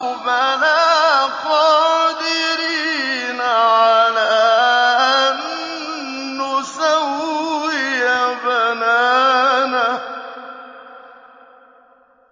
بَلَىٰ قَادِرِينَ عَلَىٰ أَن نُّسَوِّيَ بَنَانَهُ